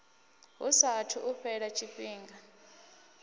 hu saathu u fhela tshifhinga